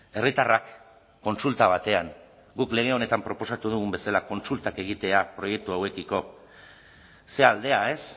herritarrak kontsulta batean guk lege honetan proposatu dugun bezala kontsultak egitea proiektu hauekiko ze aldea ez